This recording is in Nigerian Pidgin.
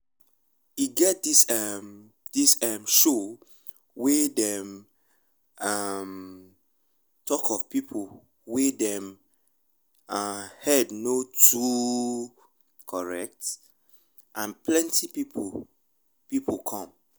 e get emm this emm show wey dey um talk of people wey dem um head no um too correct and plenty plenty people come